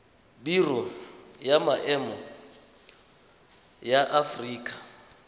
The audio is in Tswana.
biro ya maemo ya aforika